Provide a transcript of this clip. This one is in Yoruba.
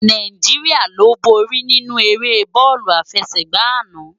Náijiriá lo bóri ninú éré bòlú áfèsègbá àná